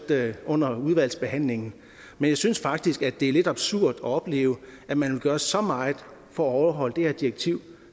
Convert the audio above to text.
under udvalgsbehandlingen men jeg synes faktisk at det er lidt absurd at opleve at man vil gøre så meget for at overholde det her direktiv